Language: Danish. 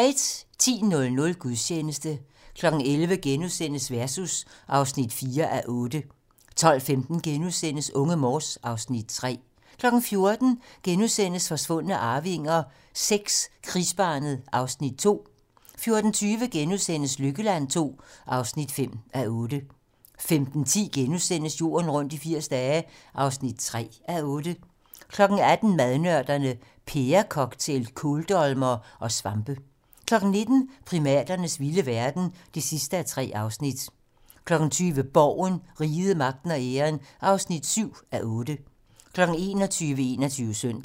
10:00: Gudstjeneste 11:00: Versus (4:8)* 12:15: Unge Morse (Afs. 3)* 14:00: Forsvundne arvinger VI: Krigsbarnet (Afs. 2)* 14:20: Lykkeland II (5:8)* 15:10: Jorden rundt i 80 dage (3:8)* 18:00: Madnørderne - Pærecocktail, kåldolmere og svampe 19:00: Primaternes vilde verden (3:3) 20:00: Borgen - Riget, Magten og Æren (7:8) 21:00: 21 Søndag